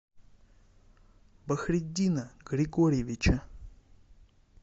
бахриддина григорьевича